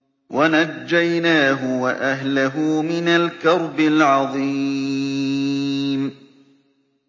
وَنَجَّيْنَاهُ وَأَهْلَهُ مِنَ الْكَرْبِ الْعَظِيمِ